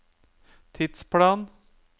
tidsplan